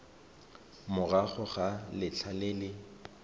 morago ga letlha le le